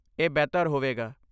ਇਹ ਬਿਹਤਰ ਹੋਵੇਗਾ।